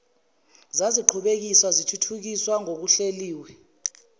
zaziqhubekiswa zithuthukiswa ngokuhleliwe